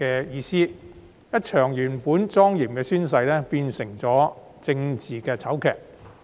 一場原本莊嚴的宣誓，最終變成政治醜劇。